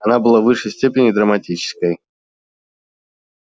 она была в высшей степени драматической